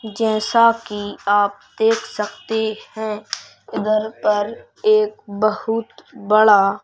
जैसा कि आप देख सकते हैं इधर पर एक बहुत बड़ा--